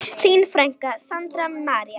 Þín frænka, Sandra María.